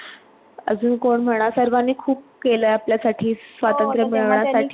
अजून कोण म्हणा. सर्वांनी खूप केलयं आपल्यासाठी स्वतंत्र मिळवण्यासाठी